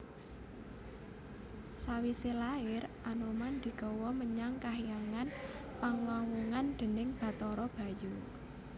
Sawisé lair Anoman digawa menyang kahyangan Panglawungan déning Bathara Bayu